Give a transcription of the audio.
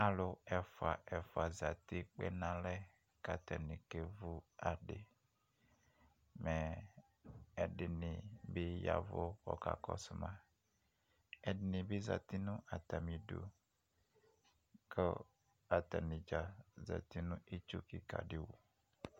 Alʋ ɛfua ɛfua zati kpe n'alɛ k'atanɩ k'evu adɩ mɛ ɛdɩnɩ bɩ yavʋ k'ɔkakɔsʋ ma, ɛdɩni bɩ zati nʋ atsmidu, kʋ atanidzaa zati nʋ itsu kɩka dɩ wu